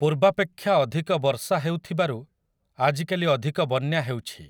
ପୂର୍ବାପେକ୍ଷା ଅଧିକ ବର୍ଷା ହେଉଥିବାରୁ ଆଜିକାଲି ଅଧିକ ବନ୍ୟା ହେଉଛି।